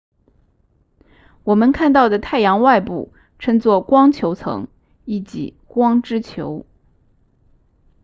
我们看到的太阳外部称作光球层意即光之球